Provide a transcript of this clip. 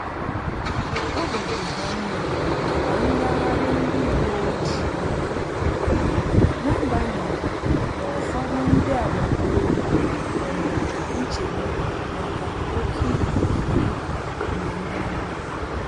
Obi di ha nma maka ngaghari ndi uweojii na agbanyighi na ụfọdụ ndị agbata obi nwee nchegbu maka oke ịkiri mgbe niile